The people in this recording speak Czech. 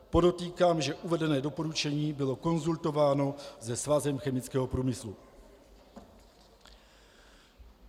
Podotýkám, že uvedené doporučení bylo konzultováno se Svazem chemického průmyslu.